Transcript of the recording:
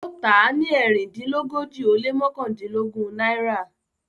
ó tà á ní Erindinlogoji o le mọkandinlogun naira.